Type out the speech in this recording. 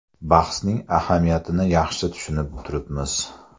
Bahsning ahamiyatini yaxshi tushunib turibmiz.